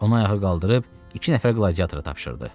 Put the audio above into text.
Onu ayağa qaldırıb iki nəfər qladiatora tapşırdı.